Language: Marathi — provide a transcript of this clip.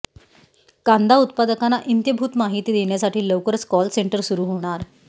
कांदा उत्पादकांना इत्यंभूत माहिती देण्यासाठी लवकरच कॉल सेंटर सुरु होणार